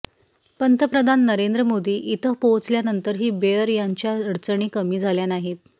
पंतप्रधान नरेंद्र मोदी इथं पोहोचल्यानंतरही बेअर यांच्या अडचणी कमी झाल्या नाही